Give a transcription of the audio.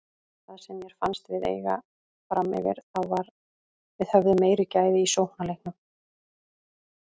Það sem mér fannst við eiga framyfir þá var við höfðum meiri gæði í sóknarleiknum.